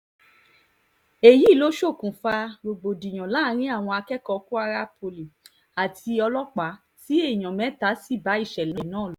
èyí ló ṣokùnfà rògbòdìyàn láàrin àwọn akẹ́kọ̀ọ́ kwara poli àti ọlọ́pàá tí èèyàn mẹ́ta sì bá ìṣẹ̀lẹ̀ náà lọ